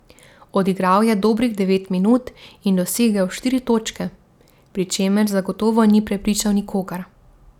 Odigral je dobrih devet minut in dosegel štiri točke, pri čemer zagotovo ni prepričal nikogar.